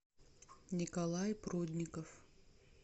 николай прудников